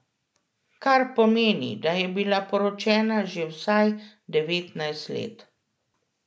Kar pomeni, da je bila poročena že vsaj devetnajst let.